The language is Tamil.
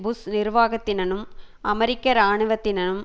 புஷ் நிர்வாகத்தினனும் அமெரிக்க இராணுவத்தினனும்